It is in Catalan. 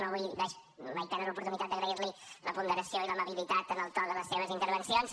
no vull mai perdre l’oportunitat d’agrair li la ponderació i l’amabilitat en el to de les seves intervencions